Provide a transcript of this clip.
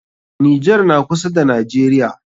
Nijar na kusa da najeriya